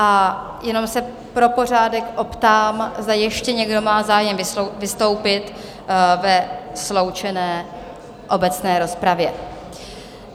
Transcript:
A jenom se pro pořádek optám, zda ještě někdo má zájem vystoupit ve sloučené obecné rozpravě?